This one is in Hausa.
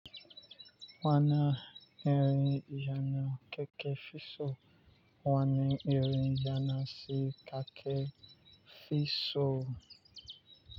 Wana irin yana keke fi so wani irin yana si ka ke fi so.